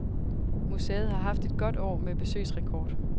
Museet har haft et godt år med besøgsrekord.